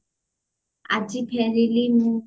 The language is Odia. ଆଜି ଫେରିଲି ମୁଁ